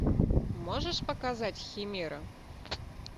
можешь показать химера